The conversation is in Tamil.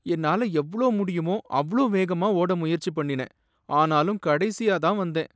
என்னால எவ்வளவு முடியுமோ அவ்வளவு வேகமா ஓட முயற்சி பண்ணினேன், ஆனாலும் கடைசியா தான் வந்தேன்.